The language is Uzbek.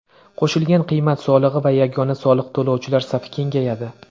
Qo‘shilgan qiymat solig‘i va yagona soliq to‘lovchilar safi kengayadi.